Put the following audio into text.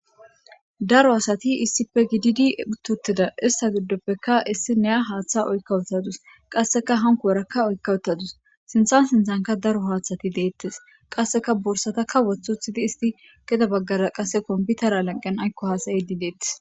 Daro asati issippe gididi uuttii uuttida ista giddoppekka issiniya haaththa oykka uttadus qasseka hankorakka oyka uttadus sinthan sinthanka daro haaththati de'ettes qasseka borsatakka woththi woththidi isti gedde baggara qase kompitera lanqen aykko haasa'idii deettes